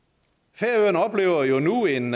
færøerne oplever jo nu en